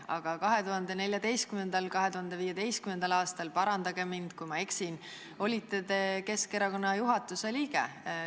Aga 2014. ja 2015. aastal – parandage mind, kui ma eksin – olite te Keskerakonna juhatuse liige.